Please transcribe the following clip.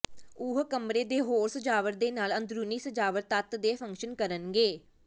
ਉਹ ਕਮਰੇ ਦੇ ਹੋਰ ਸਜਾਵਟ ਦੇ ਨਾਲ ਅੰਦਰੂਨੀ ਸਜਾਵਟ ਤੱਤ ਦੇ ਫੰਕਸ਼ਨ ਕਰਨਗੇ